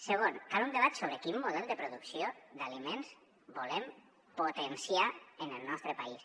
segon cal un debat sobre quin model de producció d’aliments volem potenciar en el nostre país